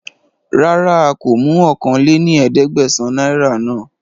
Rárá a kó mú ọ̀kan lé ní ẹ̀ẹ́dẹ́gbẹ́sán náírà náà